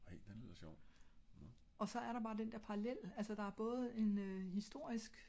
Ej den lyder sjov